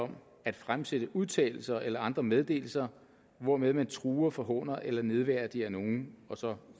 om at fremsætte udtalelser eller andre meddelelser hvormed man truer forhåner eller nedværdiger nogen og så